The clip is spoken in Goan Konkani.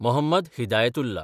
मोहम्मद हिदायतुल्ला